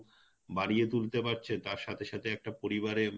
বাড়িয়ে তুলতে পারছে তার সাথে সাথে একটা পরিবারের